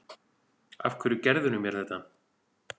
Af hverju gerðirðu mér þetta?